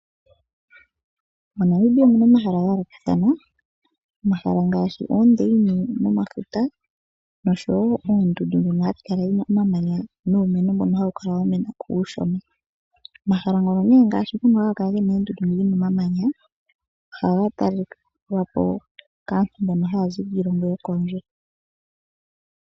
MoNamibia omuna omahala gayoolokathana ngaashi ngono gomafuta nosho woo goondundu dhono hashi kala dhina omamanya nuumeno mbono hawu kala wamena ko uushona. Omahala ngono nee haga kala gena omamanya ohaga talelwapo nee kaantu taya zi kiilongo niilongo.